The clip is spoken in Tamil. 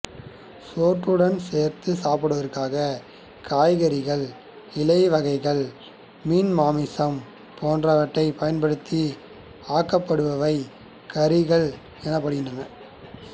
சோற்றுடன் சேர்த்துச் சாப்பிடுவதற்காக காய்கறிகள் இலைவகைகள் மீன் மாமிசம் போன்றவற்றைப் பயன்படுத்தி ஆக்கப்படுபவை கறிகள் எனப்படுகின்றன